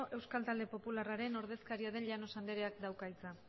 euskal talde popularraren ordezkaria den llanos andreak dauka hitza